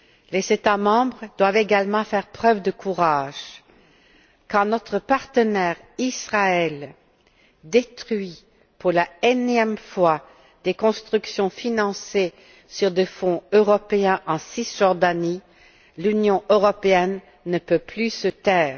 Les États membres doivent également faire preuve de courage quand notre partenaire Israël détruit pour la énième fois des constructions financées sur des fonds européens en Cisjordanie, l'Union européenne ne peut plus se taire.